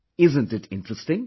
isn't it intresting